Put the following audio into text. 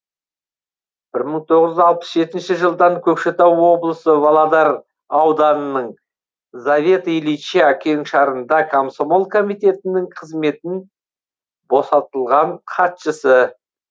бір мың тоғыз жүз алпыс жетінші жылдан көкшетау облысы володар ауданының заветы ильича кеңшарында комсомол комитетінің қызметін босатылған хатшысы